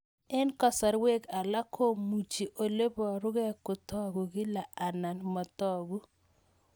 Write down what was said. Eng' kasarwek alak komuchi ole parukei kotag'u kila anan matag'u